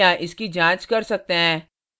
आप यहाँ इसकी जांच कर सकते हैं